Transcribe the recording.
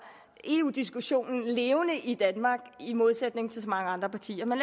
eu diskussionen levende i danmark i modsætning til så mange andre partier men